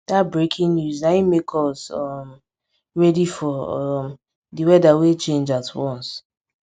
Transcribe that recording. dat breaking news na im make us um ready for um di weather wey change at once